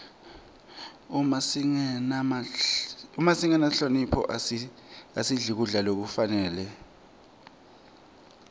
uma singenamphilo asidli kudla lokufanele